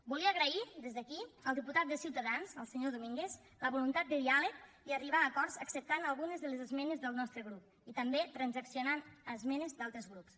volia agrair des d’aquí al diputat de ciutadans al senyor domínguez la voluntat de diàleg i d’arribar a acords acceptant algunes de les esmenes del nostre grup i també transaccionant esmenes d’altres grups